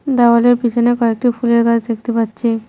দেওয়ালের পিছনে কয়েকটি ফুলের গাছ দেখতে পাচ্ছি।